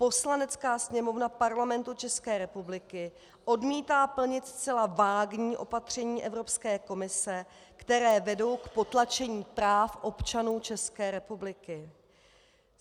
Poslanecká sněmovna Parlamentu České republiky odmítá plnit zcela vágní opatření Evropské komise, která vedou k potlačení práv občanů České republiky.